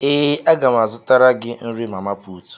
Ee, a ga m azụtara gị nrí mamaputù